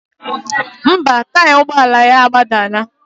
Ḿbà, taya ụgbọ ala ya agbadana.